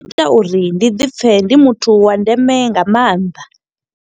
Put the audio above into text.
Zwi ita uri ndi ḓi pfe, ndi muthu wa ndeme nga maanḓa.